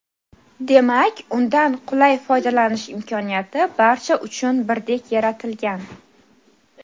Demak undan qulay foydalanish imkoniyati barcha uchun birdek yaratilgan.